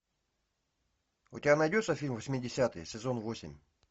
у тебя найдется фильм восьмидесятые сезон восемь